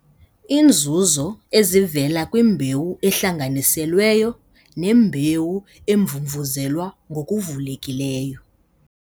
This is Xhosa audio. Iinzuzo ezivela kwimbewu ehlanganiselweyo nembewu emvumvuzelwa ngokuvulekileyo